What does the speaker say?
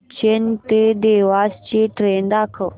उज्जैन ते देवास ची ट्रेन दाखव